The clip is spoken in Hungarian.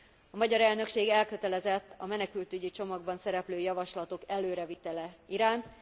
A magyar elnökség elkötelezett a menekültügyi csomagban szereplő javaslatok előre vitele iránt.